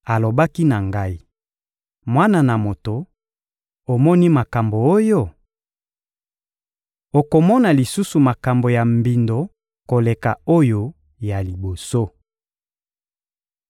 Alobaki na ngai: «Mwana na moto, omoni makambo oyo? Okomona lisusu makambo ya mbindo koleka oyo ya liboso.»